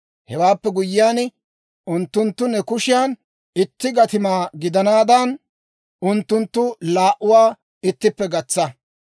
Hewaappe guyyiyaan, unttunttu ne kushiyan itti gatimaa gidanaadan, unttunttu laa"uwaa ittippe gatsa.